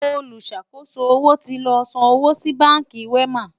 oluṣàkoso owó tí ló sàn owó sí bánkì wema